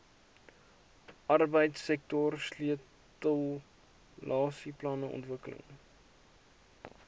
arbeidsektor sleutelaksieplanne ontwikkel